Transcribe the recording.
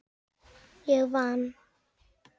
Ég vann!